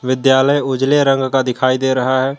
विद्यालय उजले रंग का दिखाई दे रहा है।